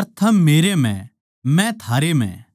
अर थम मेरै म्ह मै थारै म्ह